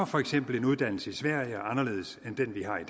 for eksempel en uddannelse i sverige er anderledes end den vi har i